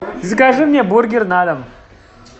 закажи мне бургер на дом